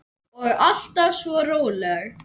Og alltaf svo róleg.